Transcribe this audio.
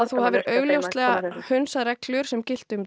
þú alveg augljóslega hundsað reglur sem giltu um